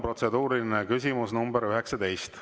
Protseduuriline küsimus nr 19.